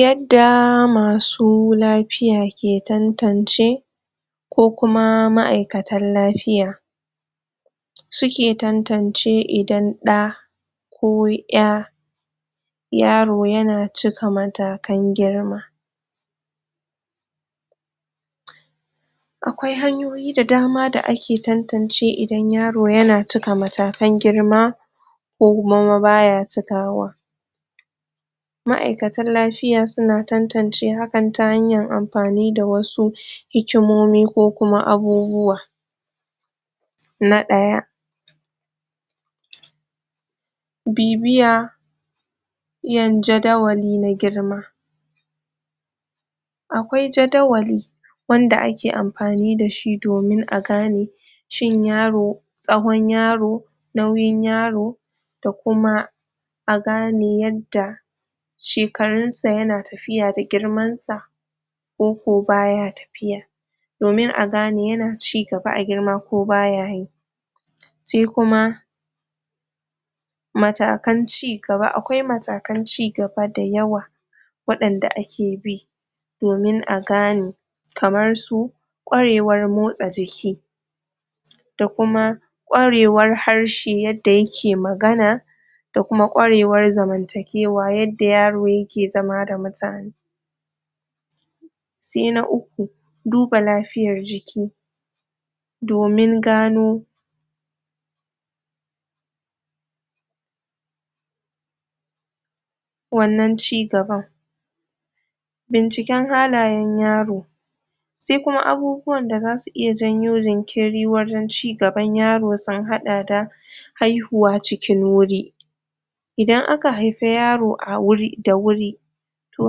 Yadda masu lafiya ke tantance ko kuma ma'aikatan lafiya suke tantance idan ɗa ko ƴa yaro yana cika matakan girma Akwai hanyoyi da dama da ake tantance idan yaro yana cika matakan girma ko kuma ba ya cikawa Ma'aikatan lafiya suna tantance hakan ta hanyan amfani da wasu hikimomi ko kuma abubuwa Na ɗaya bibiya jin jadawali na girma akwai jadawali wanda ake amfani da shi domin a gane cin yaro tsawon yaro nauyin yaro da kuma a gane yadda shekarun sa yana tafiya da girman sa ko ko baya tafiya domin a gane yana cigaba a girma ko baya yi sai kuma matakan cigaba. Akwai matakan cigaba dayawa waɗanda ake bi domin a gane kamar su ƙwarewar motsa jiki da kuma ƙwarewar harshe yadda yaek magana da kuma ƙwarewar zamantakewa yadda yaro yake zama da mutane Sai na uku duba lafiyar jiki domin gano wannan cigaban binciken halayen yaro sai abubuwan da zasu iya janyo jinkiri wajen cigaban yaro sun haɗa da haihuwa cikin wuri idan aka haifi yaro da wuri to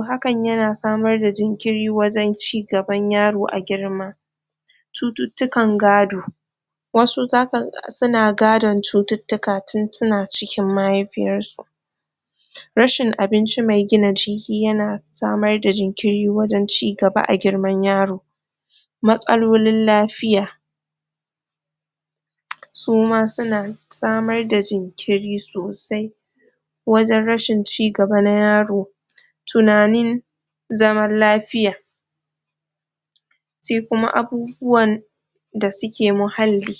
hakan yana samar da jinkiri wajen cigaban yaro a girma cututtukan gado wasu zaka ga suna gadon cututtuka tun suna ciki mahaifiyarsu rashin abinci mai gina jiki yana samar da jinkiri wajaen cigaba a girman yaro matsalolin lafiya suma suna samar da jinkiri sosai wajen rashin cigaba na yaro tunanin zaman lafiya sai kuma abubuwan da suke muhalli.